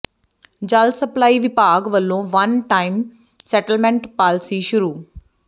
ਜਲ ਸਪਲਾਈ ਵਿਭਾਗ ਵਲੋਂ ਵਨ ਟਾਈਮ ਸੈਟਲਮੈਂਟ ਪਾਲਿਸੀ ਸ਼ੁਰੂ